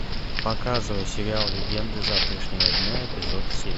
показывай сериал легенды завтрашнего дня эпизод семь